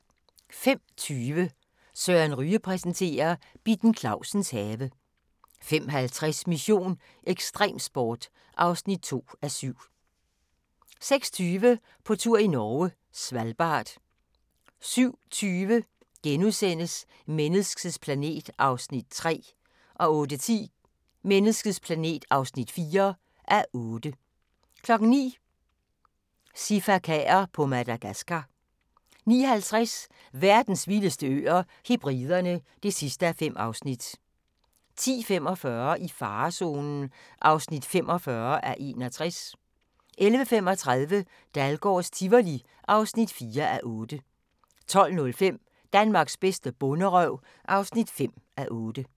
05:20: Søren Ryge præsenterer: Bitten Clausens have 05:50: Mission: Ekstremsport (2:7) 06:20: På tur i Norge: Svalbard 07:20: Menneskets planet (3:8)* 08:10: Menneskets planet (4:8) 09:00: Sifakaer på Madagascar 09:50: Verdens vildeste øer - Hebriderne (5:5) 10:45: I farezonen (45:61) 11:35: Dahlgårds Tivoli (4:8) 12:05: Danmarks bedste bonderøv (5:8)